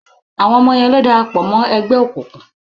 Àwọn ọmọ yẹn ló darapọ̀ mọ́ ẹgbẹ́ òkùnkùn.